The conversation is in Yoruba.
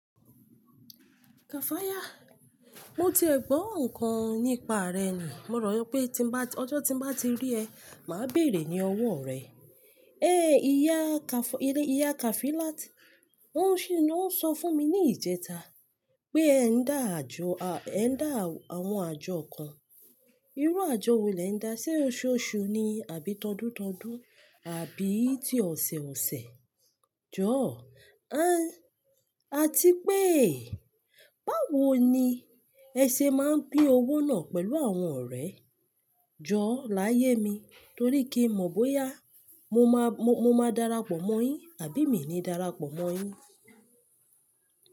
Kafaya, mo ti ẹ̀ gbọ́ nǹkan nípa rẹ ni, mo ròyí pé tí ń bá, ọjọ́ tí ń bá ti rí ẹ, màá béèrè ní owó rẹ. Ìyá Kafo, ìyá ìyá Kafilat, wó ṣi, wó ń sọ fún mi ní ìjẹta pé ẹ ń dá àjọ, ẹ ń dá àwọn àjọ kan. Irú àjọ wo lè ń dá? Sé oṣooṣu ni àbí tọ̀dútọ̀dú àbí ti ọ̀sẹ̀ẹ̀ọ̀sẹ̀? Jọ̀, àti pé báwo ni ẹ ṣe máa ń pín owó náà pẹ̀lú àwọn ọ̀rẹ́? Jọ̀ láyé mi torí kí mọ̀ bóyá mo máa, mo, mo máa darapọ̀ mọ́ yín àbí mi ni darapọ̀ mọ́ yín.